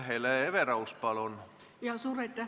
Hele Everaus, palun!